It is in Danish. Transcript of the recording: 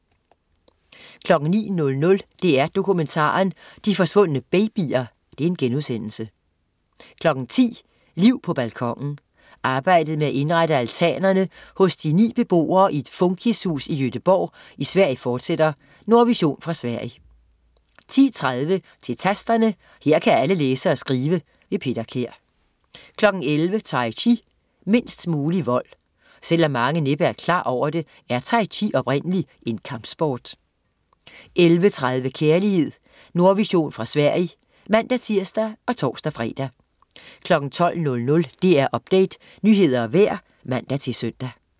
09.00 DR1 Dokumentaren. De forsvundne babyer* 10.00 Liv på balkonen. Arbejdet med at indrette altanerne hos de ni beboere i et funkishus i Göteborg i Sverige fortsætter. Nordvision fra Sverige 10.30 Til Tasterne, her kan alle læse og skrive. Peter Kær 11.00 Tai chi, mindst mulig vold. Selv om mange næppe er klar over det, er tai chi oprindeligt en kampsport 11.30 Kærlighed. Nordvision fra Sverige (man-tirs og tors-fre) 12.00 DR Update, nyheder og vejr (man-søn)